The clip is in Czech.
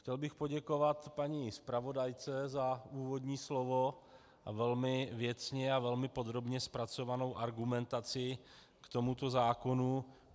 Chtěl bych poděkovat paní zpravodajce za úvodní slovo a velmi věcně a velmi podrobně zpracovanou argumentaci k tomuto zákonu.